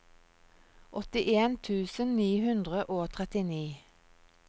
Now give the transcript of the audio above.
åttien tusen ni hundre og trettini